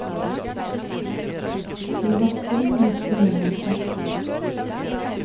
De vasser med nettet mellom seg.